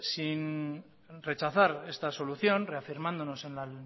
sin rechazar esta solución reafirmándonos en la